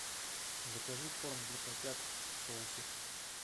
закажи корм для котят в соусе